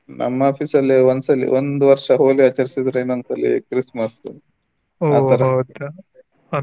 ನಮ್ Office ಅಲ್ಲಿ ಒಂದ್ಸಲಿ ಒಂದು ವರ್ಷ Holi ಆಚಾರಸಿದರೆ ಇನ್ನೊಂದ್ಸಲಿ Chrismas .